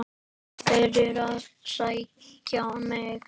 Þeir eru að sækja mig.